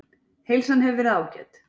Heilsan hefur verið ágæt